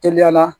Teliya la